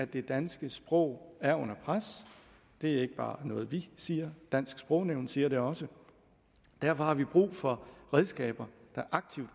det danske sprog er under pres det er ikke bare noget vi siger dansk sprognævn siger det også derfor har vi brug for redskaber der aktivt